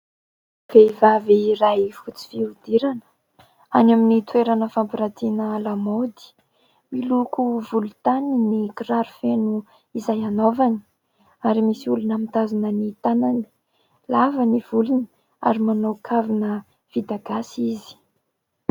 Vehivavy iray fotsy fihodirana any amin'ny toerana fampirantina lamaody, miloko volontany ny kiraro feno izay hanaovany ary misy olona mitazona ny tanany, lava ny volony ary manao kavina vita gasy izy.